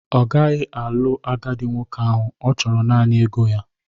Ọ gaghị alụ agadi nwoke ahụ, ọ chọrọ naanị ego ya